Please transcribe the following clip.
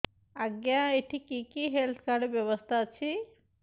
ଆଜ୍ଞା ଏଠି କି କି ହେଲ୍ଥ କାର୍ଡ ବ୍ୟବସ୍ଥା ଅଛି